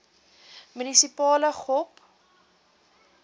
munisipale gop